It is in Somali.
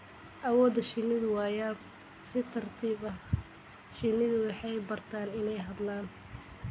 Awooda shinnidu waa yaab. Si tartiib ah, shinnidu waxay bartaan inay hadlaan.